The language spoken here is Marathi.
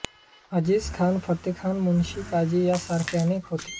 अजीजखान फत्तेखान मुन्शी काझी या सारखे अनेक होते